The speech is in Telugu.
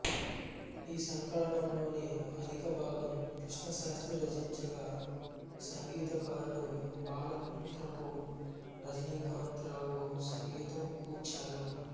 ఈ సంకలనంలోని అధికభాగం కృష్ణశాస్త్రి రచించగా సంగీతకారుడు బాలాంత్రపు రజనీకాంతరావు సంగీతం కూర్చారు